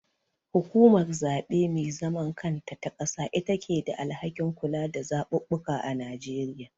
Hukumar zaɓe me zaman kanta ta ƙasa itake da alhakin kula da zaɓuɓɓuka a Nigeria.